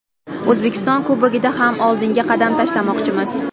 O‘zbekiston Kubogida ham oldinga qadam tashlamoqchimiz.